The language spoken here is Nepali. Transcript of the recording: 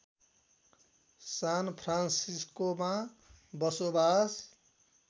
सान फ्रान्सिस्कोमा बसोबास